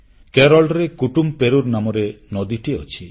କେରଳରେ କୁଟୁମ୍ପେରୁର୍ ନାମରେ ନଦୀଟିଏ ଅଛି